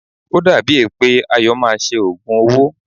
O dàbí è pé Ayọ̀ máa ṣe òògùn owó.